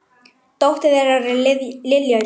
Dóttir þeirra er Lilja Rós.